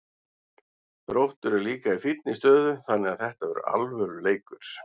Þróttur er líka í fínni stöðu þannig að þetta er alvöru leikur.